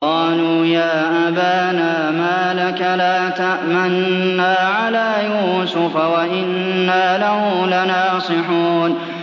قَالُوا يَا أَبَانَا مَا لَكَ لَا تَأْمَنَّا عَلَىٰ يُوسُفَ وَإِنَّا لَهُ لَنَاصِحُونَ